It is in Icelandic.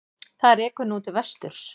Það rekur nú til vesturs.